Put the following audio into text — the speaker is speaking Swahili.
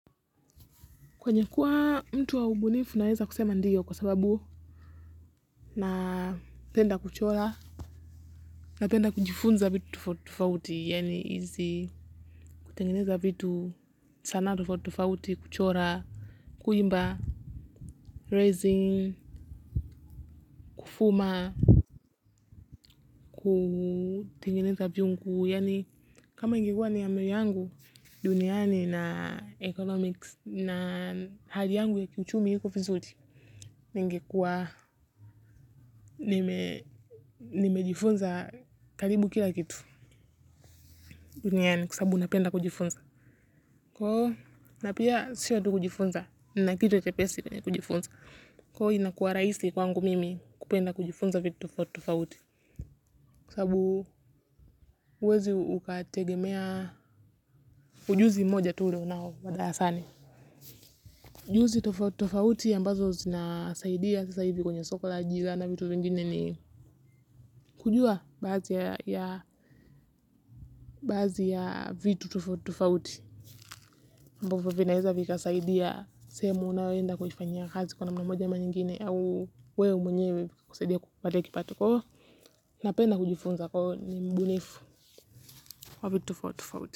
Kwenye kuwa mtu wa ubunifu naweza kusema ndiyo kwa sababu napenda kuchora. Napenda kujifunza vitu tofauti kuchora. Kuimba, raising, kufuma kutengeneza viungu, kama ingikuwa ni amiri yangu duniani na economics na hali yangu ya kiuchumi hiko vizuli. Ningekuwa nimejifunza kalibu kila kitu. Duniani kwa sababu napenda kujifunza. Kwa huo na pia siyo tu kujifunza. Na kitu chepesi kwenye kujifunza. Kwa huo inakua raisi kwangu mimi kupenda kujifunza vitu tofauti. Kwa sababu uwezi ukategemea ujuzi mmoja tu ele unao wa darasani. Ujuzi tofauti ambazo zina saidia sisa hivi kwenye soko la ajila na vitu vingine ni kujua baadhi ya vitu tofauti ambvyo vinaeza vikasaidia sehemu unaoenda kuifanyia kazi kw namna moja ama nyingine. Au wewe mwenyewe kusaidia kupata kipato kwa hivo. Napenda kujifunza kwa huo ni mbunifu wa vitu tofauti.